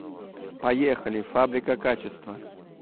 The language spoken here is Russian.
поехали фабрика качества